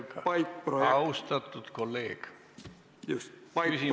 Austatud kolleeg!